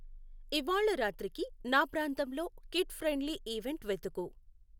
ఇవ్వాళ రాత్రికి నా ప్రాంతంలో కిడ్ ఫ్రెండ్లి ఈవెంట్ వెతుకు.